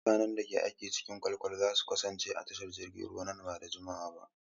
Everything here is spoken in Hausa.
Mutanen da ke aiki a cikin kwale-kwale za su kasance a tashar jiragen ruwa nan ba da jimawa ba.